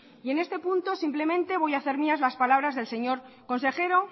y en este punto simplemente voy hacer mías las palabras del señor consejero